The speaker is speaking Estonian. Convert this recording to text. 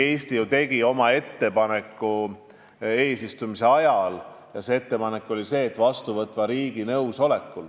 Eesti tegi ju oma eesistumise ajal ettepaneku, et kindlasti peab olema vastuvõtva riigi nõusolek.